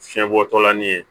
Fiɲɛbɔtɔla ni ye